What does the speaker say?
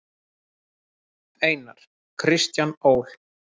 Einar: Kristján Ól.